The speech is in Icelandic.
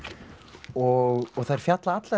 og þær fjalla allar